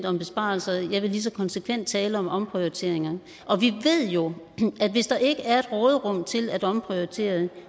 om besparelser jeg vil lige så konsekvent tale om omprioriteringer vi ved jo at hvis der ikke er et råderum til at omprioritere